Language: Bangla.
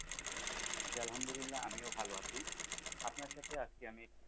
জি আলহামদুলিল্লাহ আমিও ভালো আছি, আপনার সাথে আজকে আমি,